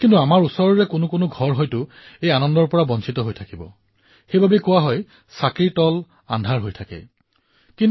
এইবাৰ আমি নতুন ধৰণে লক্ষ্মীৰ স্বাগতম জনাব নোৱাৰো নে আমাৰ সংস্কৃতিত কন্যাসকলক লক্ষ্মী হিচাপে গণ্য কৰা হয় কিয়নো কন্যাই সৌভাগ্য আৰু সমৃদ্ধি কঢ়িয়াই আনে